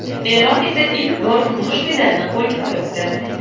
Eron esa ilk bor kumush medalni qo‘lga kiritdi.